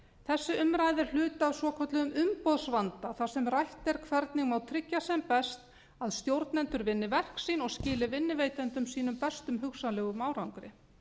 þessi umræða er hluti af svokölluðum umboðsvanda þar sem rætt er hvernig má tryggja sem best að stjórnendur vinni verk sín og skili vinnuveitendum sínum bestum hugsanlegum árangri